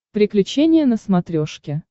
приключения на смотрешке